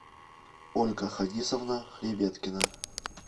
ольга хадисовна хребеткина